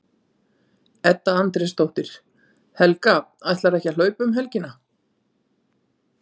Edda Andrésdóttir: Helga, ætlarðu ekki að hlaupa um helgina?